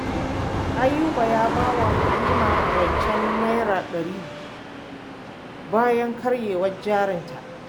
Ayuba ya ba wa Halima rancen Naira ɗari bayan karyewar jarinta